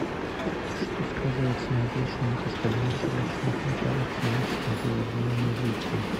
что сказывается на отличном от остальных щелочных металлов химическом поведении лития